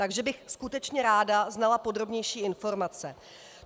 Takže bych skutečně ráda znala podrobnější informace.